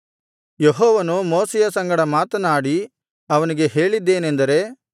ಯೆಹೋವನು ಮೋಶೆಯ ಸಂಗಡ ಮಾತನಾಡಿ ಅವನಿಗೆ ಹೇಳಿದ್ದೇನೆಂದರೆ